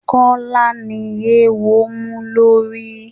Kọ́lá ni eéwo mú lórí.